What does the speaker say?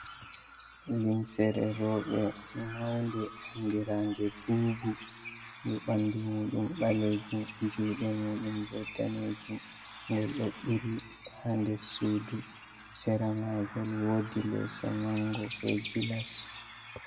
Limseere rouɓe maunde andirandee buubu. Ndu ɓandu muuɗum ɓaleejum, juuɗe muɗum bo daneejum ngol ɗo ɓilii ha nder Suudu. Seramagol woodi leeso mango be gilass.